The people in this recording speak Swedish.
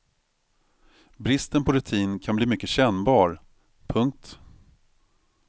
Bristen på rutin kan bli mycket kännbar. punkt